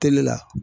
Teli la